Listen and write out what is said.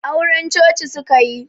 Auren coci suka yi